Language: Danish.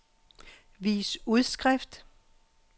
vis udskrift